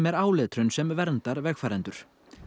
áletrun sem verndar vegfarendur